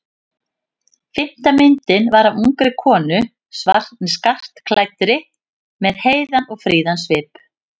Fimmta myndin var af ungri konu skartklæddri með heiðan og fríðan svip.